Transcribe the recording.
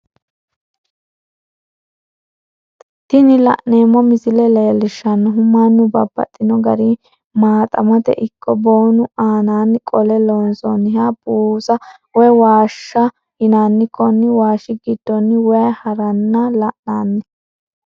Tini la'neemo misile leellishanohu mannu babaxxino garinni maaxamate ikko boonu aananni qole loonsonniha buusa woyi waashaho yinanni konni waashi gidonni wayi haranna la'nanni